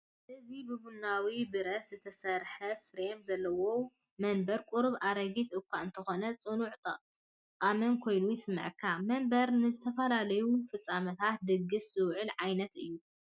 እዚ ብቡናዊ ብረት ዝተሰርሐ ፍሬም ዘለዎ መንበር ቁሩብ ኣረጊት እኳ እንተኾነ፡ ጽኑዕን ጠቓምን ኮይኑ ይስምዓካ! መንበር ንዝተፈላለዩ ፍጻመታት (ድግስ) ዝውዕል ዓይነት እዩ።